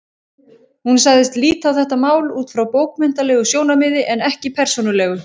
Hún sagðist líta á þetta mál út frá bókmenntalegu sjónarmiði en ekki persónulegu.